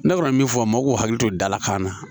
Ne kɔni mi min fɔ a ma mɔgɔw k'u hakili to dalakan na